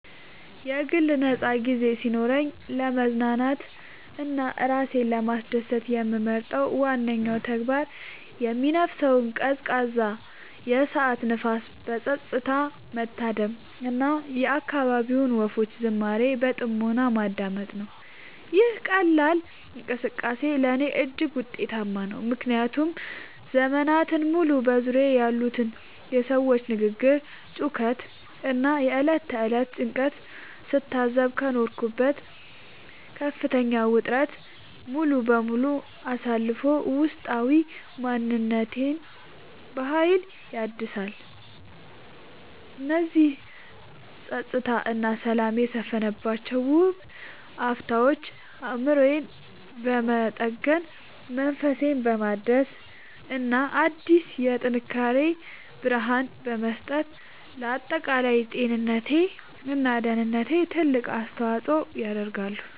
የግል ነፃ ጊዜ ሲኖረኝ ለመዝናናት እና ራሴን ለማስደሰት የምመርጠው ዋነኛው ተግባር የሚነፍሰውን ቀዝቃዛ የከሰዓት ንፋስ በፀጥታ መታደም እና የአካባቢውን ወፎች ዝማሬ በጥሞና ማዳመጥ ነው። ይህ ቀላል እንቅስቃሴ ለእኔ እጅግ ውጤታማ ነው፤ ምክንያቱም ዘመናትን ሙሉ በዙሪያዬ ያሉትን የሰዎች ግርግር፣ ጩኸት እና የዕለት ተዕለት ጭንቀት ስታዘብ ከኖርኩበት ከፍተኛ ውጥረት ሙሉ በሙሉ አሳርፎ ውስጣዊ ማንነቴን በሀይል ያድሰዋል። እነዚህ ፀጥታ እና ሰላም የሰፈነባቸው ውብ አፍታዎች አእምሮዬን በመጠገን፣ መንፈሴን በማደስ እና አዲስ የጥንካሬ ብርሃን በመስጠት ለአጠቃላይ ጤንነቴ እና ደህንነቴ ትልቅ አስተዋፅዖ ያደርጋሉ።